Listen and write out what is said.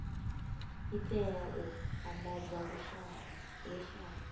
i tea u andadza luswayo